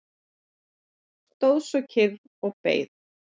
Stóð svo kyrr og beið.